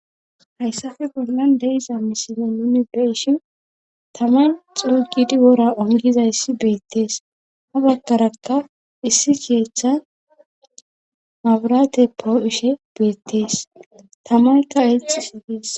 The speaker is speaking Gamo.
Hayssappe bollan de'iza misile nuuni be'ishin taman xuugidi wora ongizayssi beettees ha baggarakka issi keeththa maburate poo'ishe beettees tamaykka exxishe dees